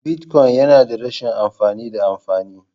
Bitcoin yana da rashin amfani da amfani..